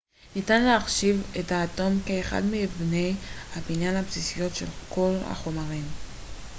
ניתן להחשיב את האטום כאחד מאבני הבניין הבסיסיות של כל החומרים